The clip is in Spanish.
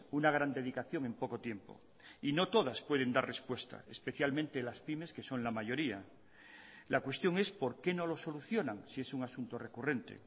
una gran dedicación en poco tiempo y no todas pueden dar respuesta especialmente las pymes que son la mayoría la cuestión es por qué no lo solucionan si es un asunto recurrente